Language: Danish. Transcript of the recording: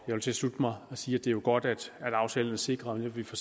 vil tilslutte mig og sige at det jo er godt at aftalen vil sikre at vi får